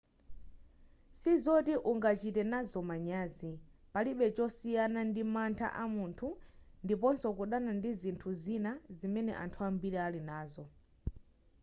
sizoti ungachite nazo manyazi palibe chosiyana ndi mantha amunthu ndiponso kudana ndi zinthu zina zimene anthu ambiri ali nazo